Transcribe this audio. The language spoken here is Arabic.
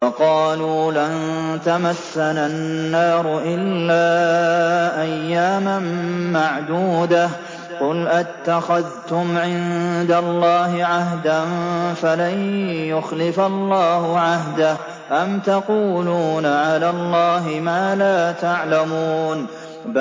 وَقَالُوا لَن تَمَسَّنَا النَّارُ إِلَّا أَيَّامًا مَّعْدُودَةً ۚ قُلْ أَتَّخَذْتُمْ عِندَ اللَّهِ عَهْدًا فَلَن يُخْلِفَ اللَّهُ عَهْدَهُ ۖ أَمْ تَقُولُونَ عَلَى اللَّهِ مَا لَا تَعْلَمُونَ